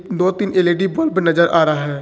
दो तीन L E D bulb नजर आ रहा है।